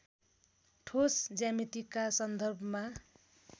ठोस ज्यामितिका सन्दर्भमा